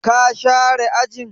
Ka share ajin?